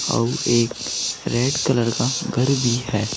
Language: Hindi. और एक रेड कलर का घर भी है।